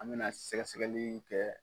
An mɛna sɛgɛsɛgɛli kɛ.